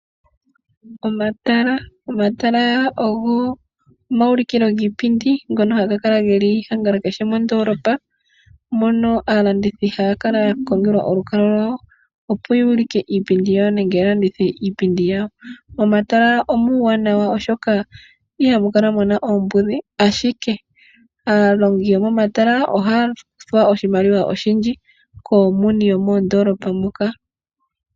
Omatala ogo omauliko giipindi ngono haga kala angala kehe mondoolopa mono aalandithi haya kala yakongelwa olukalwa lwayo opo yuulike iipindi yawo nenge yalandithe iipindi yawo. Momatala omuuwanawa oshoka ihamukala muna oombudhi ashike aalongi yomomatala ohaya kuthwa oshimaliwa oshindji kaaleli yoondolopa.